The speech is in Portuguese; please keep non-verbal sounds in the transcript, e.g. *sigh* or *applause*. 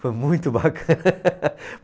Foi muito bacana. *laughs*